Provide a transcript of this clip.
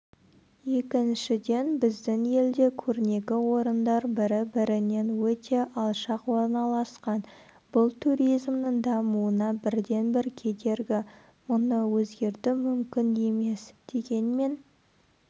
екіншіден біздің елде көрнекі орындар бірі-бірінен өте алшақ орналасқан бұл туризмнің дамуына бірден бір кедергі мұны өзгерту мүмкін емес дегенмен